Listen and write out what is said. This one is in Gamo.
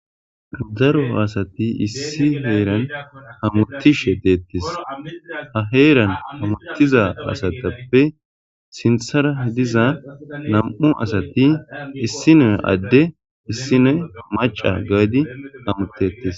Daro asati issi heeran hamuttishe deettes. Ha heeran hamutiza asatappe sinthara diza nam7u asati issinoy adde issinoy maca gaadi hamutteettes.